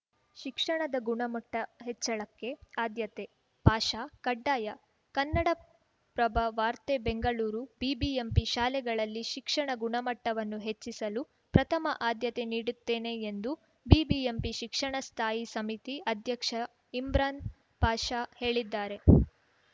ಶಿಕ್ಷಣದ ಗುಣಮಟ್ಟಹೆಚ್ಚಳಕ್ಕೆ ಆದ್ಯತೆ ಪಾಷಾ ಕಡ್ಡಾಯ ಕನ್ನಡಪ್ರಭ ವಾರ್ತೆ ಬೆಂಗಳೂರು ಬಿಬಿಎಂಪಿ ಶಾಲೆಗಳಲ್ಲಿ ಶಿಕ್ಷಣ ಗುಣಮಟ್ಟವನ್ನು ಹೆಚ್ಚಿಸಲು ಪ್ರಥಮ ಆದ್ಯತೆ ನೀಡುತ್ತೇನೆ ಎಂದು ಬಿಬಿಎಂಪಿ ಶಿಕ್ಷಣ ಸ್ಥಾಯಿ ಸಮಿತಿ ಅಧ್ಯಕ್ಷ ಇಮ್ರಾನ್‌ ಪಾಷಾ ಹೇಳಿದ್ದಾರೆ